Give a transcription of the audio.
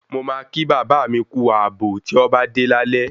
Mo máa kí bàbá mi kú ààbò ti ọ bá dé lálé